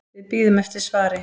Við bíðum eftir svari.